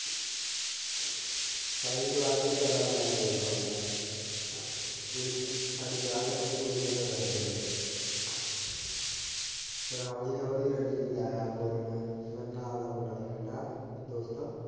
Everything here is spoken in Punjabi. ਸਾਰੀ ਕਲਾਸ ਚੋ ਕੱਲਾ ਮੈਂ ਬੋਲਦਾ ਹੁੰਦਾ ਸਾਡੀ ਕਲਾਸ ਦੇ ਮੁੰਡੇ ਕੁੜੀਆਂ ਤੋਂ ਡਰਦੇ ਆ ਫੇਰ ਹੋਲੀ ਹੋਲੀ ਲਾਇਆ ਬੋਲਣਾ ਮੇਰੇ ਨਾਲ ਦਾ ਮੁੰਡਾ ਫਰੈਂਡ ਆ .